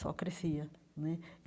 só crescia né.